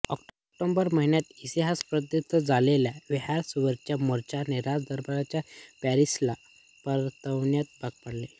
October महिन्यात इतिहासप्रसिद्ध झालेल्या व्हर्सायवरच्या मोर्च्याने राजदरबाराला पॅरिसला परतण्यास भाग पाडले